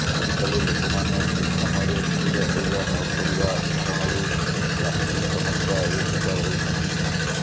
ଆଜିକାଲି ଲୋକମାନେ ଠିକ ସମୟରେ ଖାଇବା ଶୋଇବା ନକରିବା କାରଣରୁ ଗ୍ୟାସଷ୍ଟ୍ରିକ୍ ସମସ୍ୟାଏ ଶିକାର ହେଉଛନ୍ତି